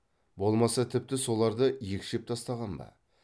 болмаса тіпті соларды екшеп тастаған ба